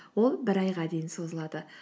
ол бір айға дейін созылады